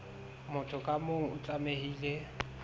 motho ka mong o tlamehile